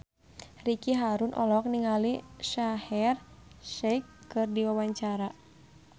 Ricky Harun olohok ningali Shaheer Sheikh keur diwawancara